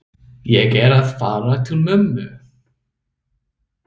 Ég er að fara til mömmu.